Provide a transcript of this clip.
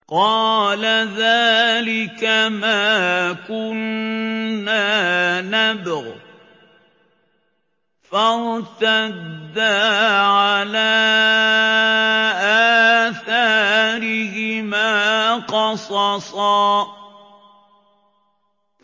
قَالَ ذَٰلِكَ مَا كُنَّا نَبْغِ ۚ فَارْتَدَّا عَلَىٰ آثَارِهِمَا قَصَصًا